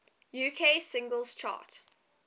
uk singles chart